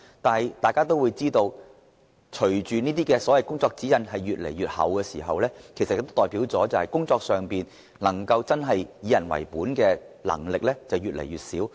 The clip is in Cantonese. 但是，大家都知道，這些所謂工作指引越來越厚，有關人員在工作時真的能夠以人為本的能力便會越來越小。